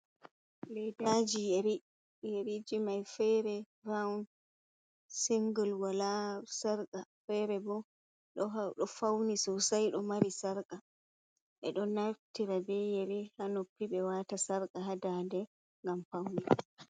Ledaji yeriji, yeriji mai fere rawun singul be sarqa fere bo ɗo fauni sosai ɗo mari sarqa, ɓeɗo naftira be yeri hanoppi ɓe watata sarqa hadade ngam paune.